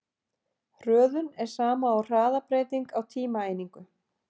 Hröðun er sama og hraðabreyting á tímaeiningu.